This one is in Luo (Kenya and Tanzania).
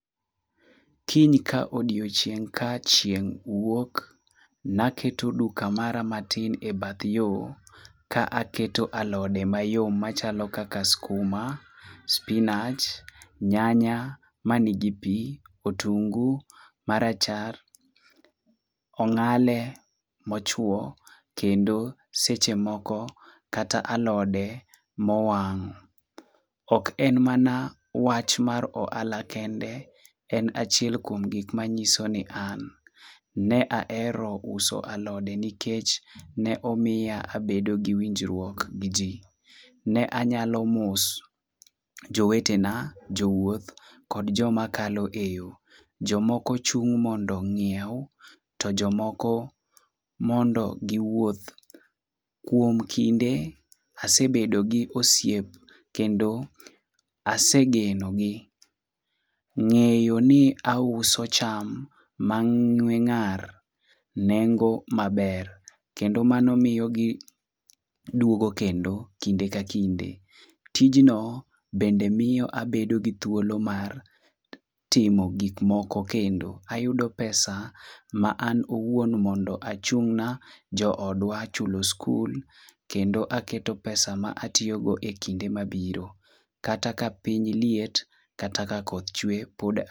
Kiny ka odiochieng' ka chieng' wuok, naketo duka mara matin e bath yo ka aketo alode mayom machalo kaka skuma, spinach, nyanya ma nigi pi, otungu marachar, ong'ale mochwo kendo seche moko kata alode mowang'. Ok en mana wach mar ohala kende, en achiel kuom gik manyiso ni an ne ahero uso alode nikech ne omiya abedo gi winjruok gi ji. Ne anyalo mos jowetena, jowuoth kod jomakalo e yo. Jomoko chung' mondo ong'iew, to jomoko mondo giwuoth. Kuom kinde asebedo gi osiep kendo asegeno gi. Ng'eyo ni auso cham mang'we ng'ar, nengo maber kendo mano miyo giduogo kendo kinde ka kinde. Tijno bende miyo abedo gi thuolo mar timo gik moko kendo. Ayudo pesa ma an owuon mondo achung'na jo odwa chulo skul kendo aketo pesa ma atiyogo e kinde mabiro. Kata ka piny liet, kata ka koth chwe, poda.